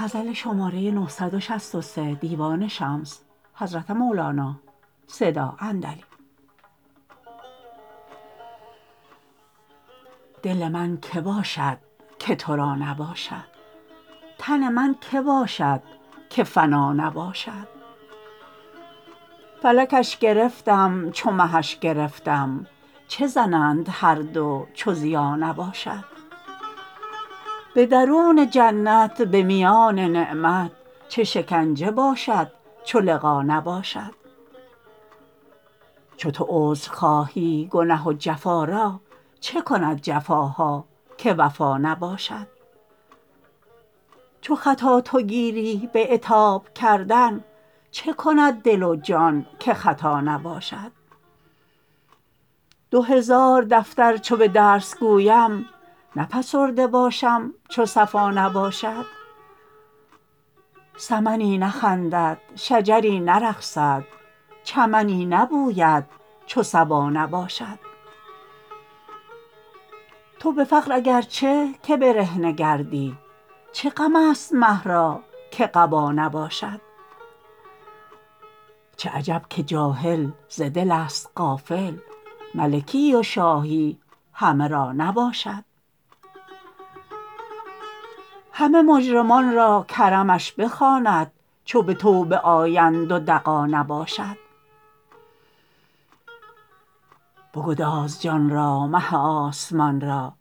دل من که باشد که تو را نباشد تن من کی باشد که فنا نباشد فلکش گرفتم چو مهش گرفتم چه زنند هر دو چو ضیا نباشد به درون جنت به میان نعمت چه شکنجه باشد چو لقا نباشد چو تو عذر خواهی گنه و جفا را چه کند جفاها که وفا نباشد چو خطا تو گیری به عتاب کردن چه کند دل و جان که خطا نباشد دو هزار دفتر چو به درس گویم نه فسرده باشم چو صفا نباشد سمنی نخندد شجری نرقصد چمنی نبوید چو صبا نباشد تو به فقر اگر چه که برهنه گردی چه غمست مه را که قبا نباشد چه عجب که جاهل ز دلست غافل ملکی و شاهی همه را نباشد همه مجرمان را کرمش بخواند چو به توبه آیند و دغا نباشد بگداز جان را مه آسمان را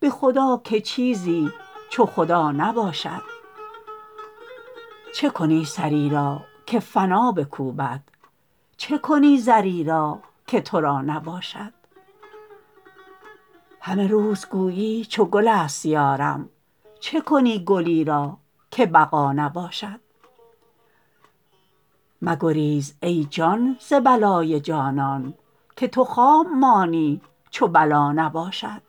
به خدا که چیزی چو خدا نباشد چه کنی سری را که فنا بکوبد چه کنی زری را که تو را نباشد همه روز گویی چو گلست یارم چه کنی گلی را که بقا نباشد مگریز ای جان ز بلای جانان که تو خام مانی چو بلا نباشد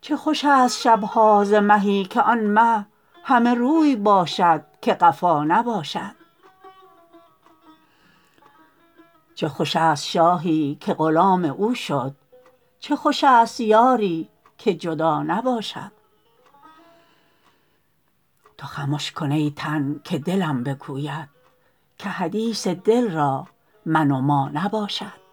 چه خوشست شب ها ز مهی که آن مه همه روی باشد که قفا نباشد چه خوشست شاهی که غلام او شد چه خوشست یاری که جدا نباشد تو خمش کن ای تن که دلم بگوید که حدیث دل را من و ما نباشد